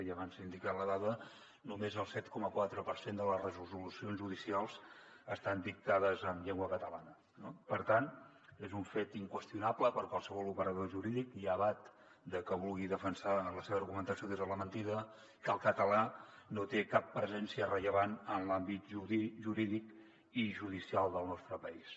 i abans s’ha indicat la dada només el set coma quatre per cent de les resolucions judicials estan dictades en llengua catalana no per tant és un fet inqüestionable per a qualsevol operador jurídic llevat de que vulgui defensar la seva argumentació des de la mentida que el català no té cap presència rellevant en l’àmbit jurídic i judicial del nostre país